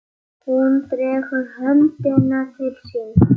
Hún dregur höndina til sín.